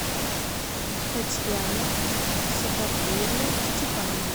татьяна сафарбиевна степанова